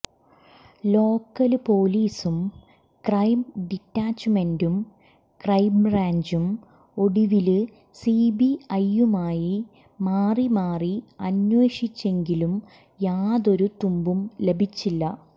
local പോലീസും crime ഡിറ്റാച്ചുമെന്റും ക്രൈംബ്രാഞ്ചും ഒടുവില് സിബിഐയും മാറിമാറി അന്വേഷിച്ചെങ്കിലും യാതൊരു തുമ്പും ലഭിച്ചില്ല